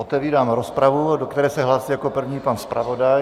Otevírám rozpravu, do které se hlásí jako první pan zpravodaj.